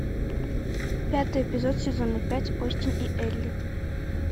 пятый эпизод сезона пять остин и элли